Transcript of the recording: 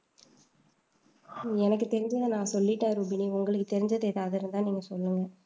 எனக்கு தெரிஞ்சதை நான் சொல்லிட்டேன் ரூபினி உங்களுக்கு தெரிஞ்சது எதாவது இருந்தா நீங்க சொல்லுங்க